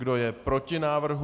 Kdo je proti návrhu?